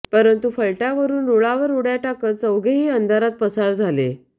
परंतु फलाटावरून रुळावर उडय़ा टाकत चौघेही अंधारात पसार झाले